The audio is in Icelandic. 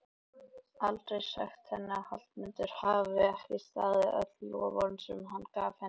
Aldrei sagt henni að Hallmundur hafi ekki staðið við öll loforðin sem hann gaf henni.